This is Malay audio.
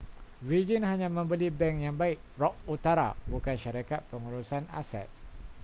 virgin hanya membeli bank yang baik' rock utara bukan syarikat pengurusan aset